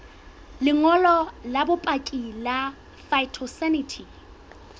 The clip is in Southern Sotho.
lengolo la bopaki la phytosanitary